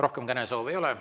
Rohkem kõnesoove ei ole.